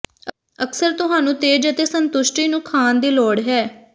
ਅਕਸਰ ਤੁਹਾਨੂੰ ਤੇਜ਼ ਅਤੇ ਸੰਤੁਸ਼ਟੀ ਨੂੰ ਖਾਣ ਦੀ ਲੋੜ ਹੈ